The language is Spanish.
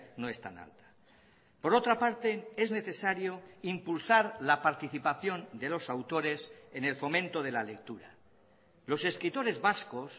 no es tan alta por otra parte es necesario impulsar la participación de los autores en el fomento de la lectura los escritores vascos